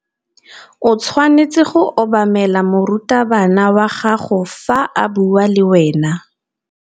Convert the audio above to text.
O tshwanetse go obamela morutabana wa gago fa a bua le wena.